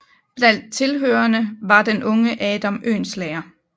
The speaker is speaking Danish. Blandt tilhørerne var den unge Adam Oehlenschläger